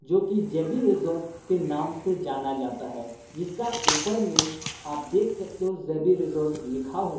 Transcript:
जो कि J B resort के नाम से जाना जाता है जिसका ऊपर नेम आप देख सकते हो जे_बी रिजॉर्ट लिखा हुआ।